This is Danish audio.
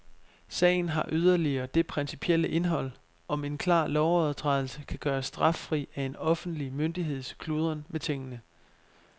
Sagen har yderligere det principielle indhold, om en klar lovovertrædelse kan gøres straffri af en offentlig myndigheds kludren med tingene.